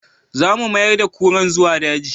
Za mu mayar da kuran zuwa daji